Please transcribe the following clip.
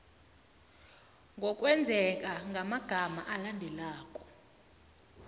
ngokwengeza ngamagama alandelako